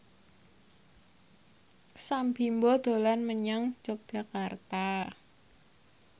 Sam Bimbo dolan menyang Yogyakarta